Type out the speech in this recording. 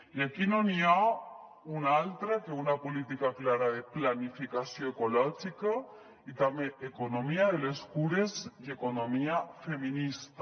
i aquí no hi ha una altra cosa a fer que una política clara de planificació ecològica i també economia de les cures i economia feminista